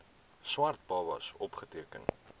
swart babas opgeteken